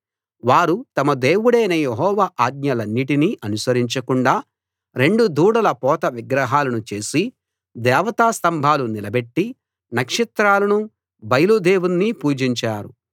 వారు తమ దేవుడైన యెహోవా ఆజ్ఞలన్నిటినీ అనుసరించకుండా రెండు దూడల పోత విగ్రహాలను చేసి దేవతాస్తంభాలు నిలబెట్టి నక్షత్రాలనూ బయలు దేవుణ్ణి పూజించారు